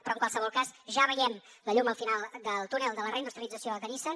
però en qualsevol cas ja veiem la llum al final del túnel de la reindustrialització de nissan